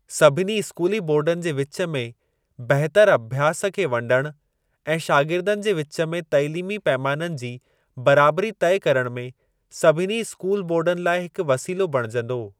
सभिनी स्कूली बोर्डनि जे विच में बहितर अभ्यास खे वंडिण ऐं शागिर्दनि जे विच में तालीमी पैमाननि जी बराबरी तइ करण में सभिनी स्कूली बोर्डनि लाइ हिकु वसीलो बणिजंदो।